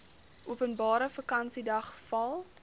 openbare vakansiedag val